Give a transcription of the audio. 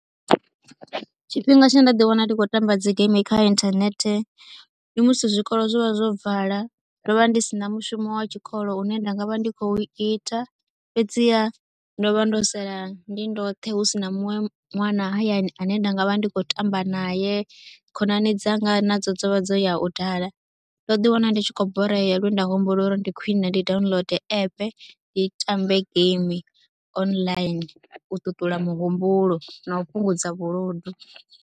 Tshifhinga tshine nda ḓiwana ndi khou tamba dzi geimi kha inthanethe ndi musi zwikolo zwo vha zwo vala ndo vha ndi si na mushumo wa tshikolo une nda nga vha ndi khou ita. Fhedziha ndo vha ndo sala ndi ndoṱhe hu si na muṅwe ṅwana hayani ane nda nga vha ndi khou tamba naye, khonani dzanga nadzo dzo vha dzo ya u dala. Ndo ḓiwana ndi tshi khou borea lwe nda humbula uri ndi khwine ndi download app ndi tambe geimi online u ṱuṱula muhumbulo na u fhungudza vhuludu.